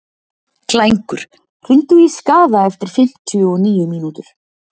Klængur, hringdu í Skaða eftir fimmtíu og níu mínútur.